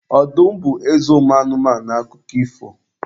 Ọdụm bụ eze ụmụ anụmanụ n'akụkọ ifo.